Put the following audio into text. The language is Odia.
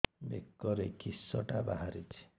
ବେକରେ କିଶଟା ବାହାରିଛି